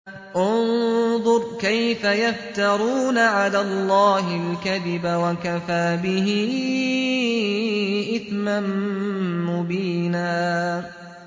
انظُرْ كَيْفَ يَفْتَرُونَ عَلَى اللَّهِ الْكَذِبَ ۖ وَكَفَىٰ بِهِ إِثْمًا مُّبِينًا